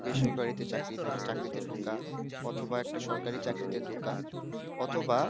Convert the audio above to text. বেসরকারি তে চাকরি হোক, চাকরিতে ঢোকা, অথবা একটা সরকারি চাকরিতে ঢোকা, অথবা,